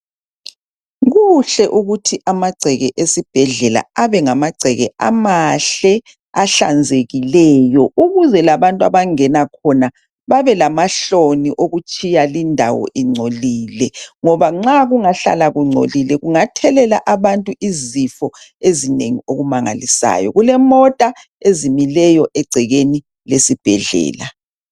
Kuhle ukuthi amagceke esibhedlela abe ngamagceke amahle, ahlanzekileyo, ukuze labantu abangena khona babe lamahloni okutshiya lindawo ingcolile, ngoba nxa kungahlala kungcolile kungathelela abantu izifo ezinengi okumangalisayo. Kulemota ezimileyo egcekeni lesibhedlela.